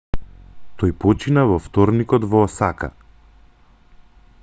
тој почина во вторникот во осака